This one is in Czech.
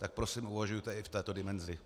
Tak prosím, uvažujte i v této dimenzi.